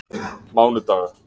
mánudaga